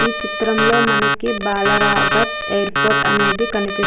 ఈ చిత్రం లో మనకి బాల రాఘర్ ఎయిర్పోర్ట్ అనేది కనిపిస్తూ --